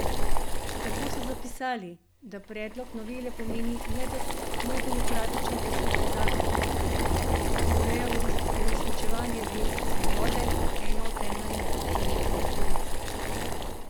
Tako so zapisali, da predlog novele pomeni nedemokratičen poseg v zakon, ki ureja uresničevanje verske svobode kot ene od temeljnih človekovih pravic.